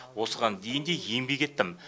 осыған дейін де еңбек еттім